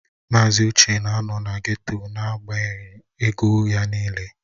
Mazị Uche na-anọ na geto n'agbanyeghị ego ya niile